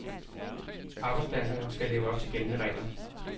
Arbejdspladserne skal leve op til gældende regler.